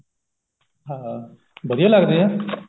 ਹਾਂ ਵਧੀਆ ਲੱਗਦੇ ਆ